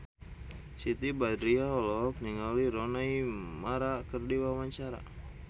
Siti Badriah olohok ningali Rooney Mara keur diwawancara